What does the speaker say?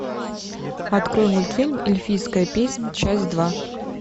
открой мультфильм эльфийская песнь часть два